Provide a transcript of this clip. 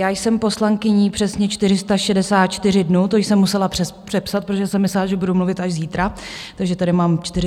Já jsem poslankyní přesně 464 dnů, to jsem musela přepsat, protože jsem myslela, že budu mluvit až zítra, takže tady mám 465, no nevadí.